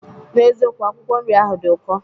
N'ezikokwu, akwụkwọ nri ahụ dị ụkọ.